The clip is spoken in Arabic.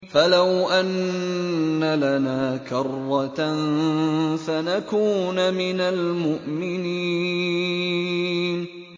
فَلَوْ أَنَّ لَنَا كَرَّةً فَنَكُونَ مِنَ الْمُؤْمِنِينَ